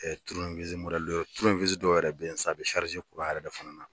turune dɔ turune dɔ yɛrɛ ye san a bɛ yɛrɛ de fana na.